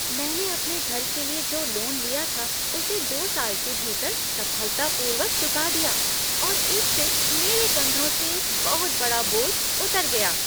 मैंने अपने घर के लिए जो लोन लिया था, उसे दो साल के भीतर सफलतापूर्वक चुका दिया और इससे मेरे कंधों से एक बहुत बड़ा बोझ उतर गया।